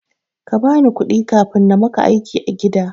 Kabani kuɗi kafin namaka aiki a gida.